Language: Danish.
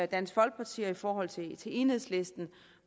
dansk folkeparti og i forhold til til enhedslisten og